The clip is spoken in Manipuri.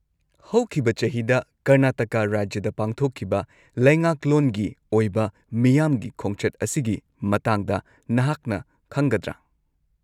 -ꯍꯧꯈꯤꯕ ꯆꯍꯤꯗ ꯀꯔꯅꯥꯇꯀꯥ ꯔꯥꯖ꯭ꯌꯗ ꯄꯥꯡꯊꯣꯛꯈꯤꯕ ꯂꯩꯉꯥꯛꯂꯣꯟꯒꯤ ꯑꯣꯏꯕ ꯃꯤꯌꯥꯝꯒꯤ ꯈꯣꯡꯆꯠ ꯑꯁꯤꯒꯤ ꯃꯇꯥꯡꯗ ꯅꯍꯥꯛꯅ ꯈꯪꯒꯗ꯭ꯔꯥ?